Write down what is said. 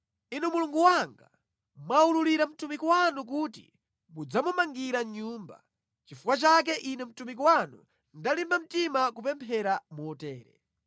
“Inu Mulungu wanga, mwaululira mtumiki wanu kuti mudzamumangira nyumba. Nʼchifukwa chake ine mtumiki wanu ndalimba mtima kupemphera motere.